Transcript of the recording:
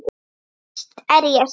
Víst er ég sekur.